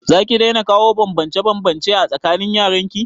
Zaki daina kawo banbance banbance a tsakanin yaran ki?